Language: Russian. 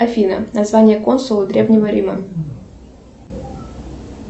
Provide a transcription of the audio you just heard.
афина название консула древнего рима